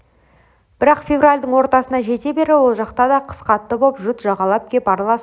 бірақ февральдің ортасына жете бере ол жақта да қыс қатты боп жұт жағалап кеп араласып қалды